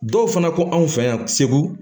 Dɔw fana ko anw fɛ yan segu